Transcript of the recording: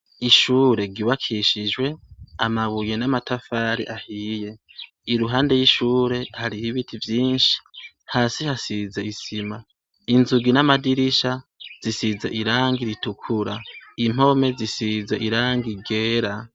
Ishure ryubakishijwe amabuye n' amatafari ahiye iruhande y' ishure hari ibiti vyinshi hasi hasize isima inzugi n' amadirisha zisize irangi ritukura impome zisize irangi ryera.